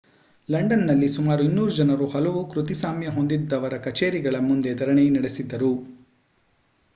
ಲಂಡನ್‌ನಲ್ಲಿ ಸುಮಾರು 200 ಜನರು ಹಲವು ಕೃತಿಸಾಮ್ಯ ಹೊಂದಿದ್ದವರ ಕಛೇರಿಗಳ ಮುಂದೆ ಧರಣಿ ನಡೆಸಿದರು